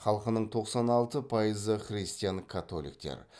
халқының тоқсан алты пайызы христиан католиктер